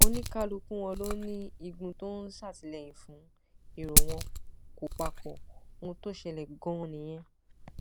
ó ní kálukú wọn ló ní igun tó ń ṣàtìlẹyìn fún èrò wọn kò papọ ohun tó ṣẹlẹ ganan nìyẹn